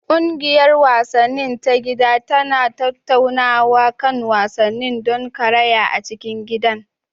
Ƙungiyar wasanni ta gida tana tattaunawa kan wasannin don karaya a cikin gidan.